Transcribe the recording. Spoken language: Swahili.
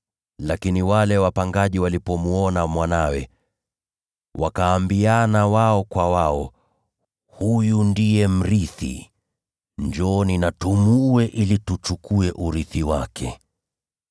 “Lakini wale wapangaji walipomwona mwanawe, wakasemezana wao kwa wao, ‘Huyu ndiye mrithi. Njooni tumuue, ili tuchukue urithi wake.’